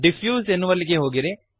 diffuse ಎನ್ನುವಲ್ಲಿಗೆ ಹೋಗಿರಿ